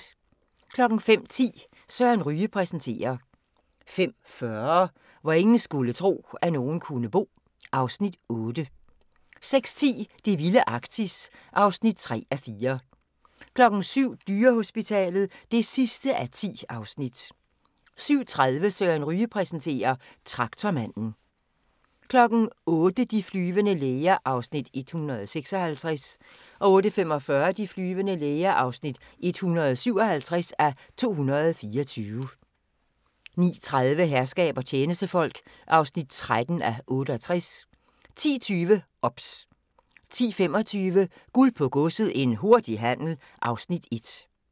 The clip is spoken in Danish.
05:10: Søren Ryge præsenterer 05:40: Hvor ingen skulle tro, at nogen kunne bo (Afs. 8) 06:10: Det vilde Arktis (3:4) 07:00: Dyrehospitalet (10:10) 07:30: Søren Ryge præsenterer: Traktormanden 08:00: De flyvende læger (156:224) 08:45: De flyvende læger (157:224) 09:30: Herskab og tjenestefolk (13:68) 10:20: OBS 10:25: Guld på Godset – en hurtig handel (Afs. 1)